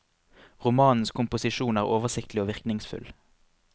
Romanens komposisjon er oversiktlig og virkningsfull.